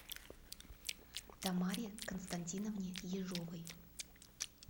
тамаре константиновне ежовой